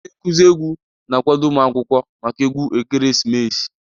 Onye nkuzi egwu na-akwado ụmụ akwụkwọ maka egwu ekeresimesi